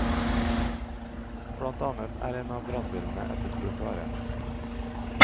Blant annet er en av brannbilene etterspurt vare.